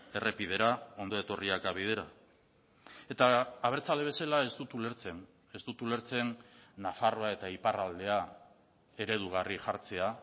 errepidera ondo etorriak bidera eta abertzale bezala ez dut ulertzen ez dut ulertzen nafarroa eta iparraldea eredugarri jartzea